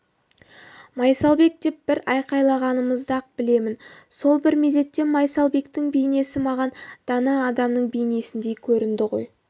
майсалбек деп бір айқайлағанымды-ақ білемін сол бір мезетте майсалбектің бейнесі маған дана адамның бейнесіндей көрінді ой